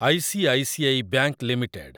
I C I C I bank limited